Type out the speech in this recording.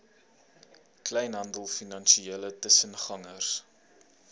kleinhandel finansiële tussengangers